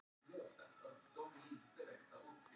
Hvers konar vísindatæki er hin evrópska Gaia?